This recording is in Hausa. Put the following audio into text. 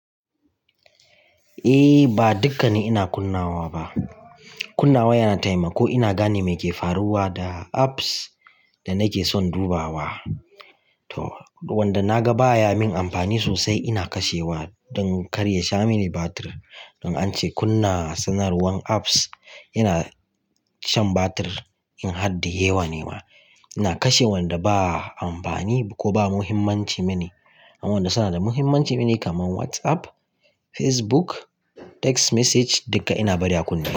Eh ba dukkane ina kunnawa ba. Kunnawa yana taimako ina gane me ke faruwa da apps da nake son dubawa. To wanda na ga baya min amfani sosai ina kashewa don kar ya sha mini batir. Don ance kunna sanarwan apps yana shan batir in had da yawa ne ma. Ina kashe wanda ba amfani ko ba muhimmanci mini, amma wanda suna da muhimmanci mini kaman WhatsApp, Facebook, text message duka ina bari a kunna.